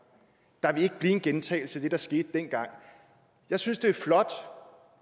er ikke blive en gentagelse af det der skete dengang jeg synes det er flot